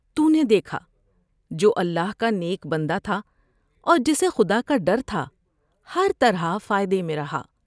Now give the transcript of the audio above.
تو نے دیکھا جو اللہ کا نیک بندہ تھا اور جسے خدا کا ڈر تھا ہر طرح فائدے میں رہا ۔